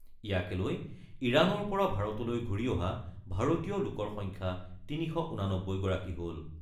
ইয়াকে লৈ ইৰানৰ পৰা ভাৰতলৈ ঘূৰি অহা ভাৰতীয় লোকৰ সংখ্যা ৩৮৯ গৰাকী হ'ল।